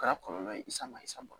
O kɛra kɔlɔlɔ ye sama isa bɔ